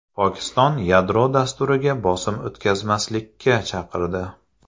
Pokiston yadro dasturiga bosim o‘tkazmaslikka chaqirdi.